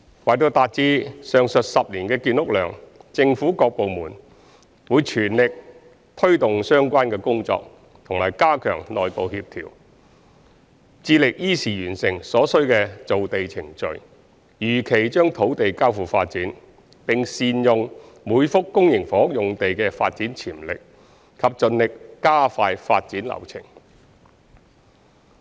為達至上述10年的建屋量，政府各部門會全力推動相關工作和加強內部協調，致力依時完成所需的造地程序，如期將土地交付發展，並善用每幅公營房屋用地的發展潛力，以及盡力加快發展流程。